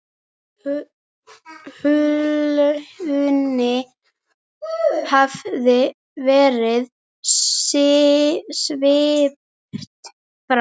Hulunni hafði verið svipt frá.